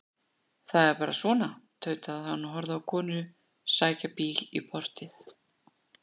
Það er bara svona, tautaði hann og horfði á konu sækja bíl í portið.